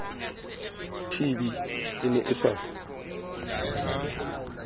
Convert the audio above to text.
tb e ne e sa